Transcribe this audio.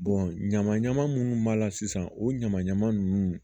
ɲama ɲama munnu b'a la sisan o ɲaman ɲaman nunnu